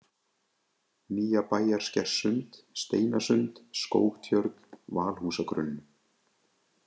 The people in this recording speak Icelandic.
Nýjabæjarskerssund, Steinasund, Skógtjörn, Valhúsagrunn